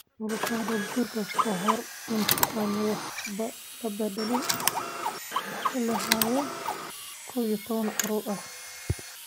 Noloshooda guurka, ka hor inta aan waxba la beddelin, waxay lahaayeen 11 carruur ah.